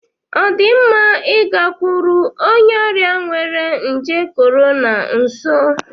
Ọ dị mma ịgakwuru onye ọrịa nwere nje Corona nso?